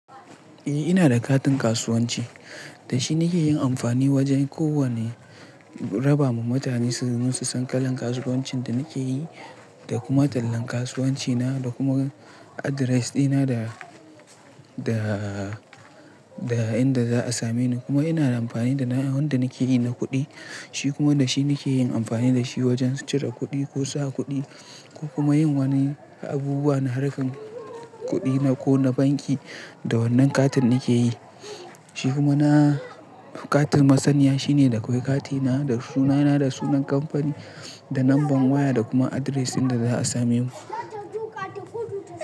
Eh ina da katin kasuwanci, da shi nake yin amfani wajen ko wane raba ma mutane su san kalan kasuwancin da nake yi da kuma tallan kasuwanci na da kuma address dina da da inda za a same ni. Kuma ina da amfani da na yanda nake yi na kuɗi, shi kuma da shi nake yin amfani da shi wajen cire kuɗi ko sa kuɗi ko kuma yin wani abubuwa na harkan kuɗi na ko na banki. Da wannan katin nake yi, shi kuma katin masaniya shine da akwai katina da sunana da sunan kamfani da number waya da kuma address inda za a same mu.